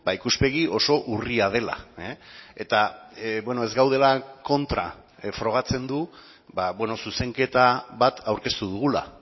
ikuspegi oso urria dela eta ez gaudela kontra frogatzen du zuzenketa bat aurkeztu dugula